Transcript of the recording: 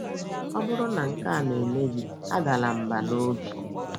Ọ bụrụ na nke a na - eme gị, adala mbà n’obi!